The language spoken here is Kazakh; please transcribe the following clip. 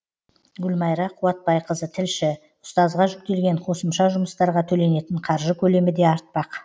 гүлмайра қуатбайқызы тілші ұстазға жүктелген қосымша жұмыстарға төленетін қаржы көлемі де артпақ